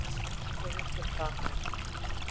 Vertu ekki svo viss um það.